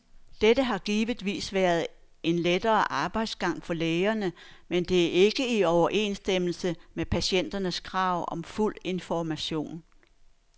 Dette har givetvis været en lettere arbejdsgang for lægerne, men det er ikke i overensstemmelse med patienternes krav om fuld information.